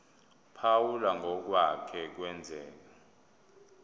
phawula ngokwake kwenzeka